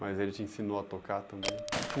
Mas ele te ensinou a tocar também?